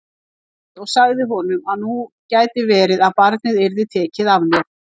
Ég grét og sagði honum að nú gæti verið að barnið yrði tekið af mér.